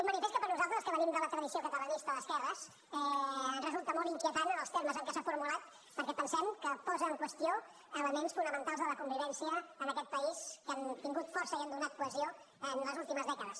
un manifest que per nosaltres els que venim de la tradició catalanista d’esquerres ens resulta molt inquietant en els termes en què s’ha formulat perquè pensem que posa en qüestió elements fonamentals de la convivència en aquest país que han tingut força i han donat cohesió en les últimes dècades